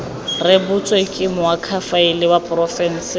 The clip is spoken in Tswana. rebotswe ke moakhaefe wa porofense